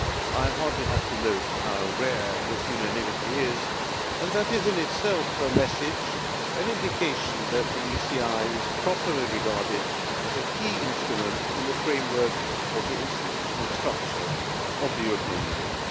I hardly have to note how rare this unanimity is and that is in itself a message, an indication that the ECI is properly regarded as a key instrument in the framework of the institutional structure of the European Union.